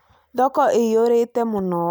Thoko ĩiyũrĩte mũno